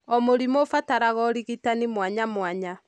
O mũrimũ ũbataraga ũrigitani mwanyamwanya.